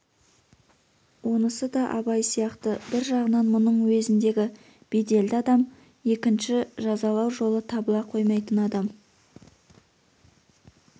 онысы да абай сияқты бір жағынан мұның уезіндегі беделді адам екінші жазалау жолы табыла қоймайтын адам